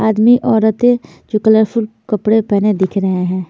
आदमी औरतें जो कलर फुल कपडे पहने दिख रहे हैं।